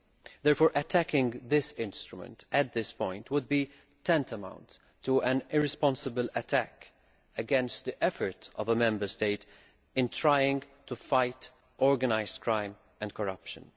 Therefore, attacking this instrument at this point would be tantamount to an irresponsible attack against the effort of a Member State to try to fight organised crime and corruption.